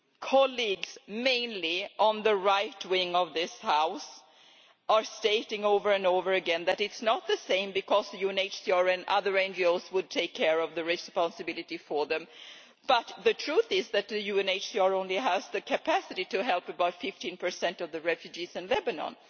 Colleagues, mainly on the right wing of this House, are stating over and over again that it is not the same because the UNHCR and other NGOs will take care of the responsibility for them, but the truth is that the UNHCR only has the capacity to help about 15 of the refugees in Lebanon.